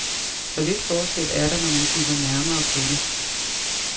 Så lidt forskel er der, når man kigger nærmere på det.